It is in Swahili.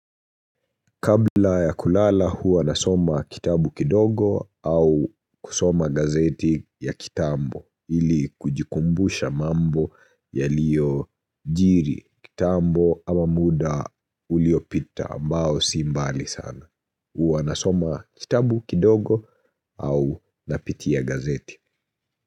Kabla ya kulala huwa nasoma kitabu kidogo au kusoma gazeti ya kitambo ili kujikumbusha mambo yaliyojiri kitambo ama muda uliopita ambao si mbali sana. Hua nasoma kitabu kidogo au napitia gazeti.